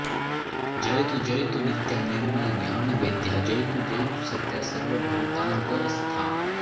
जयतु जयतु नित्या निर्मलज्ञानवेद्या जयतु जयतु सत्या सर्वभूतान्तरस्था